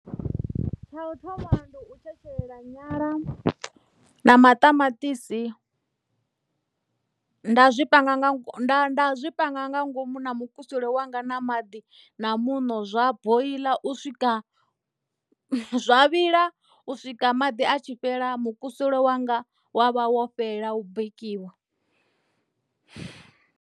Tsha u thoma ndi u tshetshelela nyala na maṱamaṱisi nda zwi panga nga nda nda zwi panga nga ngomu na mukusule wanga na maḓi na muṋo zwa boiḽa u swika zwa vhila u swika maḓi a tshi fhela mukusule wanga wa vha wo fhela bikiwa.